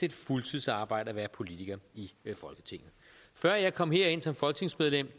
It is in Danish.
et fuldtidsarbejde at være politiker i folketinget før jeg kom herind som folketingsmedlem